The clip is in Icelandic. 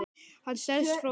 Hann stelst frá okkur.